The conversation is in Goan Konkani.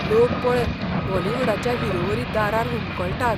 लोक पळय बॉलिवुडाच्या हिरोवरी दारार हुमकळटात.